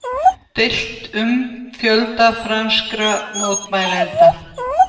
Deilt um fjölda franskra mótmælenda